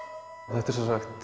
þetta er